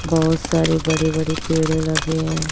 बहोत सारे बड़े बड़े पेड़ लगे है।